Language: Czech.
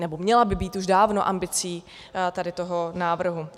nebo měla by být už dávno ambicí tady toho návrhu.